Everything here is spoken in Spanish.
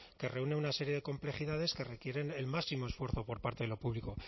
que reúne una serie de complejidades que requieren el máximo esfuerzo por parte de lo público